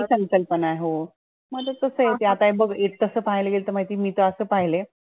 वेगळी संकल्पनाह हो, मग ते कसा होतंय अता हे बघ तसं पाहायला गेलं तर माहिती मी तर असं पाहिलंय